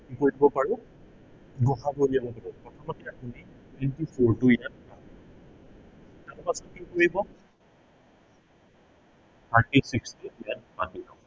আমি কি কৰিব পাৰো গ সা গু উলিয়াব পাৰো। প্ৰথমতে আপুনি into four টো ইয়াত আপুনি কি কৰিব thirty six টো ইয়াত বাদ দিব